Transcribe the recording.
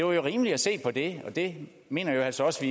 være rimeligt at se på det og det mener jeg altså også